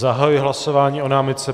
Zahajuji hlasování o námitce.